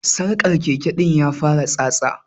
Sarkar Keke din ya fara yin tsatsa.